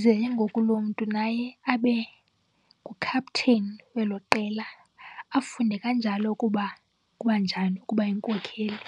Ze ke ngoku loo mntu naye abe ngukhapteni welo qela, afunde kanjalo ukuba kubanjani ukuba yinkokheli.